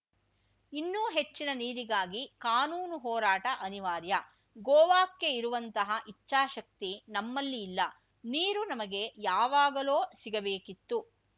ಇನ್ನೂ ಹೆಚ್ಚಿನ ನೀರಿಗಾಗಿ ಕಾನೂನು ಹೋರಾಟ ಅನಿವಾರ್ಯ ಗೋವಾಕ್ಕೆ ಇರುವಂತಹ ಇಚ್ಛಾಶಕ್ತಿ ನಮ್ಮಲ್ಲಿ ಇಲ್ಲ ನೀರು ನಮಗೆ ಯಾವಾಗಲೋ ಸಿಗಬೇಕಿತ್ತು